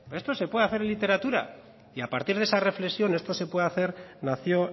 pero de esto se puede hacer literatura y a partir de esa reflexión de esto se puede hacer nació